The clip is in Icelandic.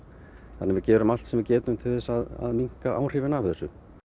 þannig að við gerum allt sem við getum til að minnka áhrifin af þessu